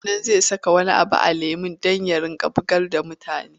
Ga shi nan zai saka wani abu a cikin lemon da yake bugar da mutane.